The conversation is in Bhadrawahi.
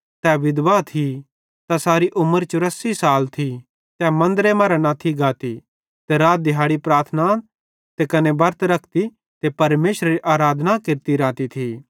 तै विधवा थी तैसारी उमर चूरासी साल थी तै मन्दरे मरां न थी गाती ते रात दिहैड़ी प्रार्थना ते कने बरतां रखती ते परमेशरेरी आराधना केरती रहती थी